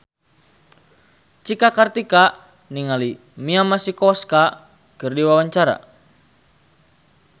Cika Kartika olohok ningali Mia Masikowska keur diwawancara